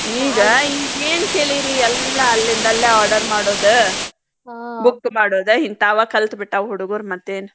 ಈಗ ಈಗೇನ್ ಕೇಳಿರಿ ಎಲ್ಲ ಎಲ್ಲೆಂದಲ್ಲೇ order ಮಾಡೋದ book ಮಾಡೋದ ಹಿಂತಾವ ಕಲ್ತಬಿಟ್ಟಾವ್ ಹುಡುಗುರ್ ಮತ್ತೇನ್.